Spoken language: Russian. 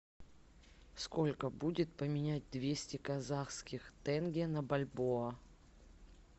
сколько будет поменять двести казахских тенге на бальбоа